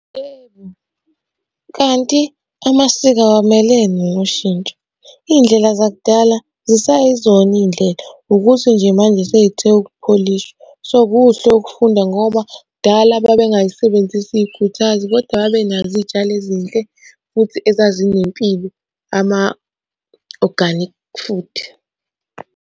Yebo, kanti amasiko awamelene noshintsho. Iy'ndlela zakudala zisayizona iy'ndlela, ukuthi nje manje sey'the ukupholishwa. So, kuhle ukufunda ngoba kudala babengay'sebenzisi ikhuthazi, kodwa babenazo iy'tshalo ezinhle futhi ezazinempilo ama-organic food.